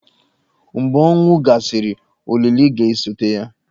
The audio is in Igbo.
Mgbe ọnwụ gasịrị, olili ga-esote ya.